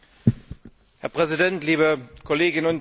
Herr Präsident, liebe Kolleginnen und Kollegen!